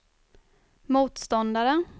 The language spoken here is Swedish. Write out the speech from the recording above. motståndare